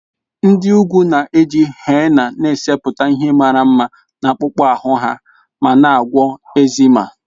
Nd ị ugwu na-eji henna na-esepụta ihe mara mma na akpụkpọ ahụ ha ma na-agwọ eczema.